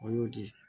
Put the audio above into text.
O y'o di